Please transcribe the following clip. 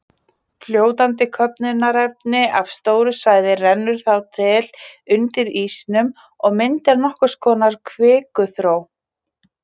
Fljótandi köfnunarefni af stóru svæði rennur þá til undir ísnum og myndar nokkurs konar kvikuþró.